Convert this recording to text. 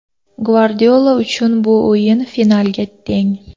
Gvardiola uchun bu o‘yin finalga teng.